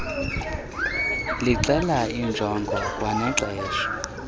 lixela iinjongo kwanexesha